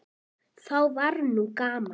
Þá var nú gaman.